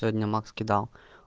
сегодня макс кидал